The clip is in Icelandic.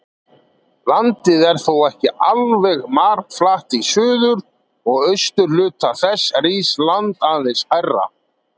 Landið er þó ekki alveg marflatt, í suður- og austurhluta þess rís land aðeins hærra.